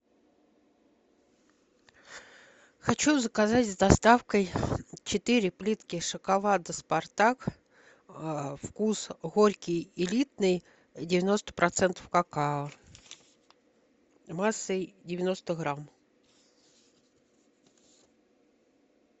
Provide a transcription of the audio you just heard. хочу заказать с доставкой четыре плитки шоколада спартак вкус горький элитный девяносто процентов какао массой девяносто грамм